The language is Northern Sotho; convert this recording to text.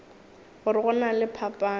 gore go na le phapano